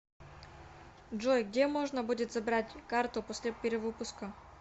джой где можно будет забрать карту после перевыпуска